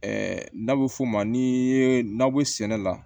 n'a bɛ f'o ma n'i ye nakɔ sɛnɛ la